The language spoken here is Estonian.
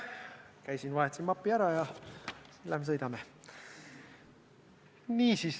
Käisin, vahetasin mapi ära ja nüüd lähme sõidame.